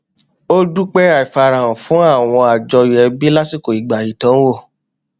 ó dúpẹ àìfarahàn fún àwọn àjọyọ ẹbí lásìkò ìgbà ìdánwò